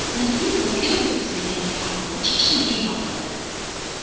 Nargiz Zokirova kuzda yangi albomi chiqishini e’lon qildi.